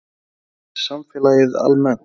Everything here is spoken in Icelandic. En hvað með samfélagið almennt?